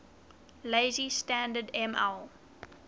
lazy standard ml